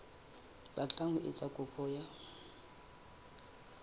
batlang ho etsa kopo ya